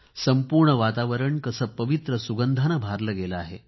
संपूर्ण वातावरण कसे पवित्र सुगंधाने भारले गेले आहे